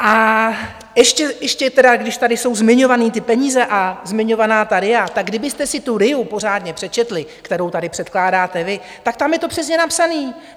A ještě tedy, když tady jsou zmiňované ty peníze a zmiňovaná ta RIA, tak kdybyste si tu RIA pořádně přečetli, kterou tady předkládáte vy, tak tam je to přesně napsané.